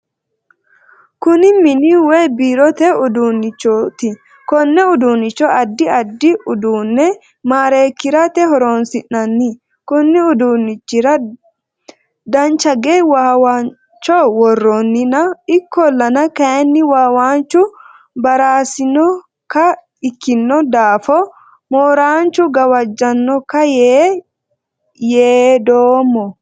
Kunni mini woyi biirote uduunnichoti konne uduunchi addi addi uduune mareekirate horoonsi'nanni. Konni uduunichira danchage waawancho woroonninna ikolanna kayinni wawanchu baraasinoka ikino daafo mooranchu gawajanoka yee yaadoomo